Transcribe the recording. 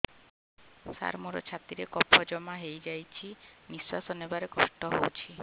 ସାର ମୋର ଛାତି ରେ କଫ ଜମା ହେଇଯାଇଛି ନିଶ୍ୱାସ ନେବାରେ କଷ୍ଟ ହଉଛି